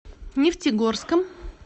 нефтегорском